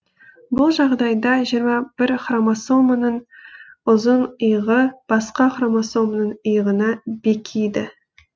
бұл жағдайда жиырма бір хромосоманың ұзын иығы басқа хромосоманың иығына бекиді